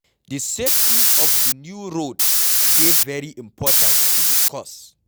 Di safety of di new road de very important to discuss